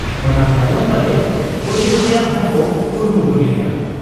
ᱚᱱᱟ ᱛᱟᱭᱚᱢ ᱯᱟᱞᱮ ᱜᱚᱡᱮ ᱨᱮᱭᱟᱝ ᱦᱚᱸᱠᱚ ᱠᱩᱨᱩᱢᱩᱴᱩ ᱞᱮᱜ ᱟ ᱾